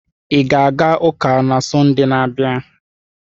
Ị ga-aga ụka na Sọnde na-abịa?